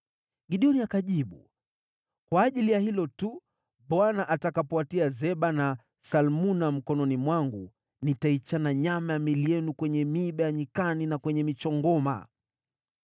Gideoni akajibu, “Kwa ajili ya hilo tu, Bwana atakapowatia Zeba na Salmuna mkononi mwangu, nitaichana nyama ya miili yenu kwenye miiba ya nyikani na kwenye michongoma.”